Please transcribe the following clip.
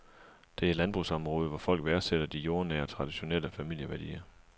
Det er et landbrugsområde, hvor folk værdsætter de jordnære, traditionelle familieværdier.